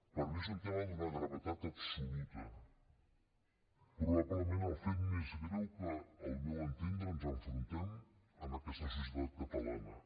per mi és un tema d’una gravetat absoluta probablement el fet més greu a què al meu entendre ens enfrontem en aquesta societat catalana